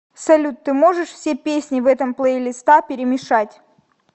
салют ты можешь все песни в этом плейлиста перемешать